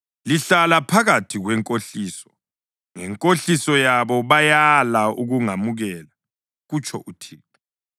Lihlala phakathi kwenkohliso, ngenkohliso yabo bayala ukungamukela,” kutsho uThixo.